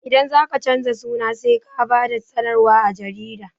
Idan zaka canza suna sai ka ba da sanarwa a jarida